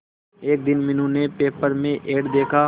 एक दिन मीनू ने पेपर में एड देखा